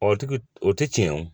Ɔ o tigi o tɛ tiɲɛ o